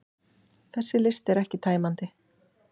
Þessi listi er ekki tæmandi